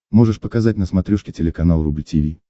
можешь показать на смотрешке телеканал рубль ти ви